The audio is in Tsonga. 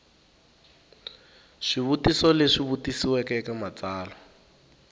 swivutiso leswi vutisiweke eka matsalwa